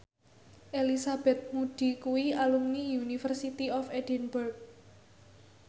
Elizabeth Moody kuwi alumni University of Edinburgh